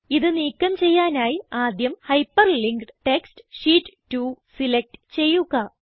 ഇത് നീക്കം ചെയ്യാനായി ആദ്യം ഹൈപ്പർലിങ്ക്ഡ് ടെക്സ്റ്റ് ഷീറ്റ് 2 സിലക്റ്റ് ചെയ്യുക